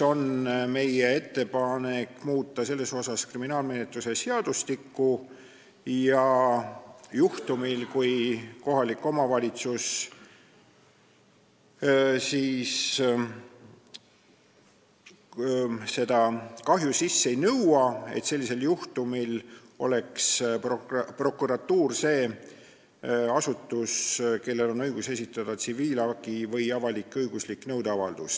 Meie ettepanek on muuta kriminaalmenetluse seadustikku, nii et juhul, kui kohalik omavalitsus seda kahju sisse ei nõua, oleks prokuratuur see asutus, kellel on õigus esitada tsiviilhagi või avalik-õiguslik nõudeavaldus.